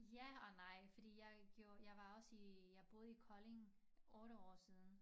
Ja og nej fordi jeg gjorde jeg var også i jeg boede i Kolding 8 år siden